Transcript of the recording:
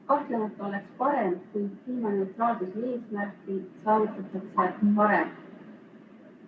Kahtlemata oleks parem, kui kliimaneutraalsuse eesmärk saavutataks varem.